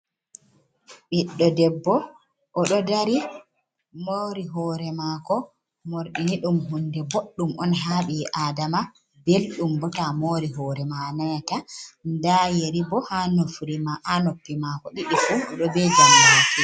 Ɓiɗɗo debbo o ɗo dari moori hoore maako. Morɗi ni ɗum huunde boɗɗum on haa ɓi aadama, belɗum boo ta moori hoore maa a nanata. Ndaa yeri boo haa noppi mako ɗiɗi fu o ɗo bee janbaki.